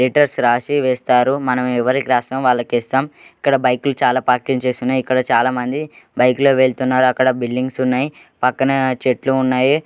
Letters రాసి వేస్తారు. మనం ఎవరికి రాసామో వాళ్లకు వేస్తామ్. ఇక్కడ బైకు లు చాలా పార్కింగ్ చేసి ఉన్నాయి. ఇక్కడ చాలామంది బైక్ లో వెళ్తున్నారు. అక్కడ బిల్డింగ్స్ ఉన్నాయి. పక్కనా చెట్లు ఉన్నాయి.